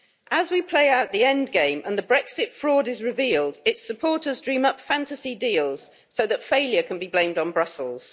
As we play out the end game and the Brexit fraud is revealed, its supporters dream up fantasy deals so that failure can be blamed on Brussels.